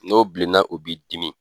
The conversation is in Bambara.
N'o bilenna o b'i dimi.